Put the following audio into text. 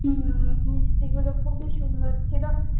উম মিষ্টি গুলো খূবই সুন্দর ছিলো।